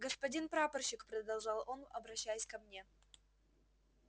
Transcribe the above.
господин прапорщик продолжал он обращаясь ко мне